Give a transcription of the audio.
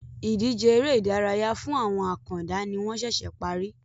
Ìdíje ère ìdárayá fún àwọn àkàndá ni wọn sẹsẹ parí